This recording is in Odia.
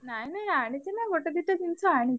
ନାଇଁ ନାଇଁ ଆଣିଚି ନା ଗୋଟେ ଦିଟା ଜିନିଷ ଆଣିଚି।